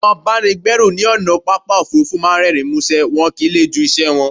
Àwọn abáni gbẹ́rù ní ònà pápá òfurufú máà ń rérìn músé, wọn kìí le jú iṣẹ wọn